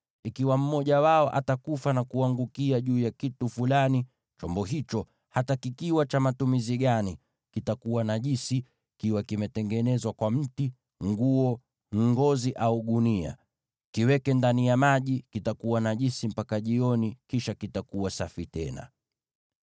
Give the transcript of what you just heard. Ikiwa mmoja wao atakufa na kuangukia juu ya kitu fulani, chombo hicho, hata kikiwa cha matumizi gani, kitakuwa najisi, kiwe kimetengenezwa kwa mti, nguo, ngozi au gunia. Kiweke ndani ya maji; kitakuwa najisi mpaka jioni, kisha kitakuwa safi tena.